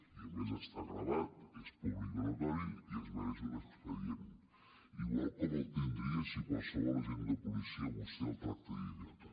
i a més està gravat és públic i notori i es mereix un expedient igual com el tindria si qualsevol agent de policia a vostè el tracta d’idiota